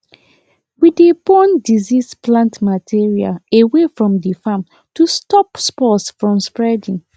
we dey burn diseased plant material away from the farm to stop spores from spreading